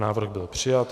Návrh byl přijat.